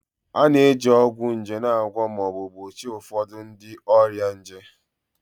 A na-eji ọgwụ nje na-agwọ ma ọ bụ gbochie ụfọdụ ụdị ọrịa nje